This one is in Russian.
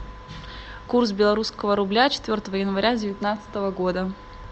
курс белорусского рубля четвертого января девятнадцатого года